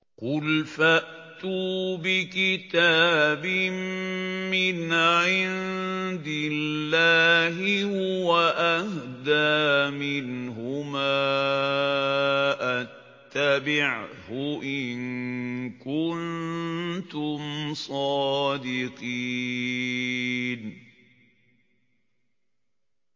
قُلْ فَأْتُوا بِكِتَابٍ مِّنْ عِندِ اللَّهِ هُوَ أَهْدَىٰ مِنْهُمَا أَتَّبِعْهُ إِن كُنتُمْ صَادِقِينَ